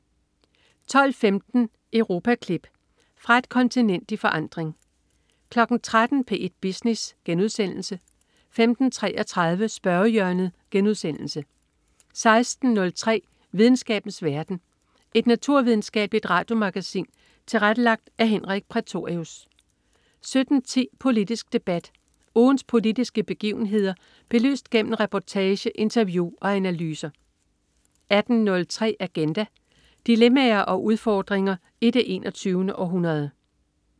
12.15 Europaklip. Fra et kontinent i forandring 13.00 P1 Business* 15.33 Spørgehjørnet* 16.03 Videnskabens verden. Et naturvidenskabeligt radiomagasin tilrettelagt af Henrik Prætorius 17.10 Politisk Debat. Ugens politiske begivenheder belyst gennem reportage, interview og analyser 18.03 Agenda. Dilemmaer og udfordringer i det 21. århundrede